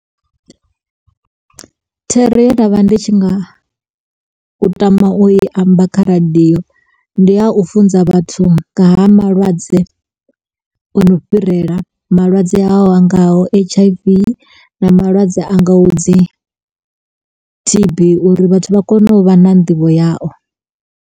Thero ye nda vha ndi tshi nga, u tama u i amba kha radio. Ndi a u funza vhathu nga ha malwadze o no fhirela, malwadze a ngaho H_I_V na malwadze a ngaho dzi T_B uri vhathu vha kone u vha na nḓivho yao.